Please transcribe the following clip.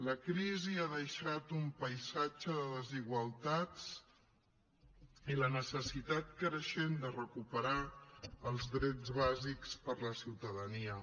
la crisi ha deixat un paisatge de desigualtats i la necessitat creixent de recuperar els drets bàsics per a la ciutadania